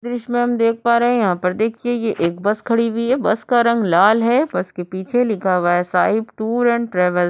दृश्य में हम देख पा रहे हैं यहाँ पर देखिए ये एक बस खड़ी हुई है बस का रंग लाल है। बस के पीछे लिखा हुआ है साईं टूर एंड ट्रैवलस ।